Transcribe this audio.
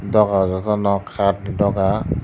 dogar joto no kat ni dogar